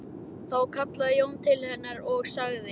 Þá kallaði Jón til hennar og sagði